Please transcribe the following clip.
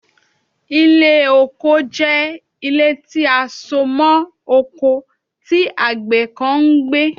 Ile oko jẹ ile ti a so mọ oko ti agbẹ kan n gbe